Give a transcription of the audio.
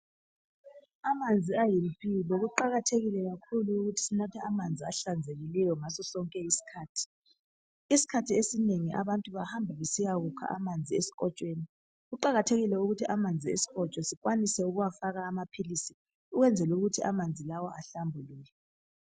Amanzi ayimpilo kuqakathekile kakhulu ukuthi sinathe amanzi ahlanzekileyo ngasosonke isikhathi. Isikhathi esinengi abantu bahamba besiyakukha amanzi esikotshweni. Amanzi esikotsho kumele afakwe amaphilisi ukuze ahlambuluke.